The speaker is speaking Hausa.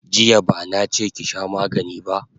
Jiya bana che ki sha magani ba!